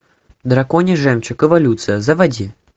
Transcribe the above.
драконий жемчуг эволюция заводи